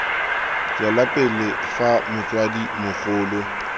tswela pele fa motsadi mogolo